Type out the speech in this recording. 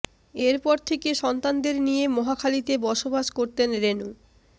এরপর থেকে সন্তানদের নিয়ে মহাখালীতে বসবাস করতেন রেনু